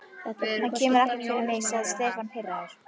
Það kemur ekkert fyrir mig sagði Stefán pirraður.